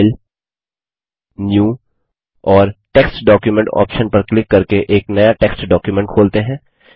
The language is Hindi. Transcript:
फाइल न्यू और टेक्स्ट डॉक्यूमेंट ऑप्शन पर क्लिक करके एक नया टेक्स्ट डॉक्युमेंट खोलते हैं